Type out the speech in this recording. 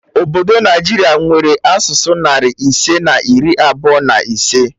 Obodo Naijiria nwere asụsụ narị ise na iri abụọ na ise